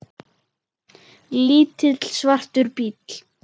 Lítill, svartur bíll.